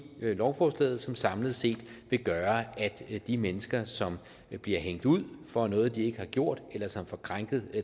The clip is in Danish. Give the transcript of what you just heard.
lovforslaget som samlet set vil gøre at de mennesker som bliver hængt ud for noget de ikke har gjort eller som får krænket